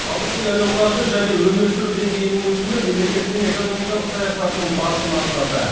халықтың әл ауқаты және өмір сүру деңгейінің өсуі мемлекеттің экономикалық саясатының басты мақсаты